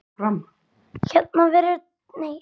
Hér verða fáar dregnar fram.